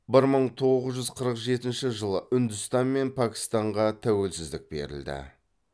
бір мың тоғыз жүз қырық жетінші жылы үндістан мен пәкстанға тәуелсіздік берілді